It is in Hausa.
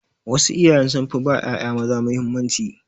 Wasu iyaye sun fi ba ƴaƴa maza mahimmanci.